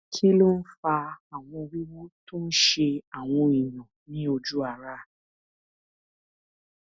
kí ló ń fa àwọn wiwu tó ń ṣe àwọn èèyàn ní oju ara